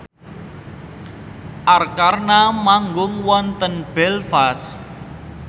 Arkarna manggung wonten Belfast